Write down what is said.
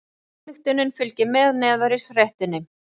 Ályktunin fylgir með neðar í fréttinni